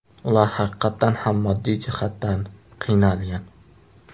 Ular haqiqatdan ham moddiy jihatdan qiynalgan.